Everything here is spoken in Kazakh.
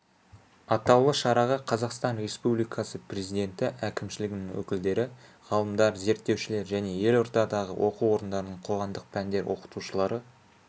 атаулы шараға қазақстан республикасы президенті әкімшілігінің өкілдері ғалымдар зерттеушілер және елордадағы оқу орындарының қоғамдық пәндер оқытушылары